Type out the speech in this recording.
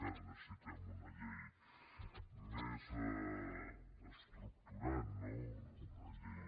ara necessitem una llei més estructurant no una llei